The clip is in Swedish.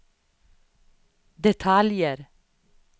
detaljer